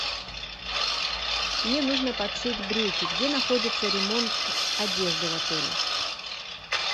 мне нужно подшить брюки где находится ремонт одежды в отеле